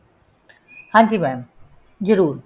ਹਾਂਜੀ mam ਜਰੂਰ